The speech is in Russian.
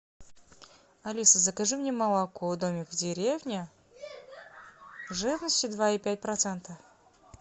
алиса закажи мне молоко домик в деревне жирностью два и пять процента